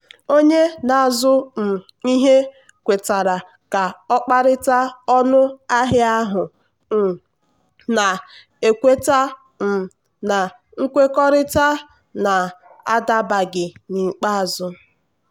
onye na-azụ um ihe kwetara ka ọ kparịta ọnụ ahịa ahụ um na-ekweta um na nkwekọrịta na-adabaghị n'ikpeazụ.